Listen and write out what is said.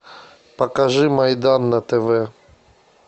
покажи майдан на тв